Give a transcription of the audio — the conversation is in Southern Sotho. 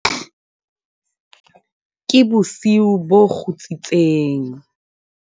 ke bosiu bo kgutsitseng